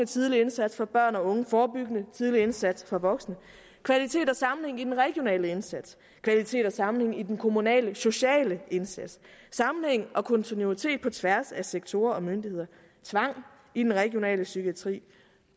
tidlig indsats for børn og unge forebyggende tidlig indsats for voksne kvalitet og sammenhæng i den regionale indsats kvalitet og sammenhæng i den kommunale sociale indsats sammenhæng og kontinuitet på tværs af sektorer og myndigheder tvang i den regionale psykiatri